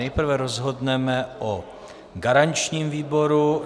Nejprve rozhodneme o garančním výboru.